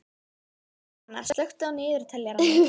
Svana, slökktu á niðurteljaranum.